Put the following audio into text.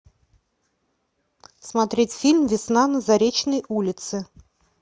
смотреть фильм весна на заречной улице